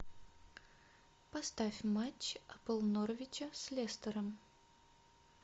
поставь матч апл норвича с лестером